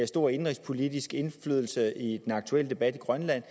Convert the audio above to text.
stor indenrigspolitisk indflydelse i den aktuelle debat i grønland